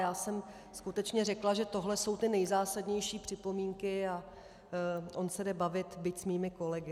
Jjá jsem skutečně řekla, že tohle jsou ty nejzásadnější připomínky, a on se jde bavit, byť s mými kolegy.